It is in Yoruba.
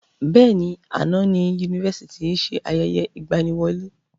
Bẹ́ẹ̀ni, àná ni Yunifásítì yìí ṣe ayẹyẹ ìgbàníwọlé